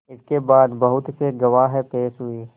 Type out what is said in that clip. इसके बाद बहुत से गवाह पेश हुए